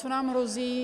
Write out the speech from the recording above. Co nám hrozí?